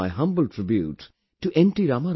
I offer my humble tribute to N